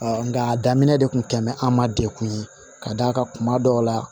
nka a daminɛ de kun tɛmɛn an ma degun ye ka d'a kan kuma dɔw la